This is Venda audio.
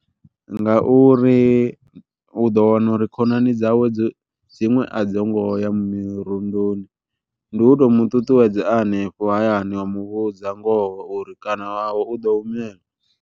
Nga uri u ḓo wana uri khonani dzawe dzo dziṅwe a dzi ngo ya mirundoni ndi u to mu ṱuṱuwedza hanefho hayani wa muvhudza ngoho uri kana u ḓo humela.